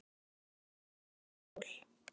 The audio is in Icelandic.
Hvar standa þessi mál?